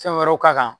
Fɛn wɛrɛw k'a kan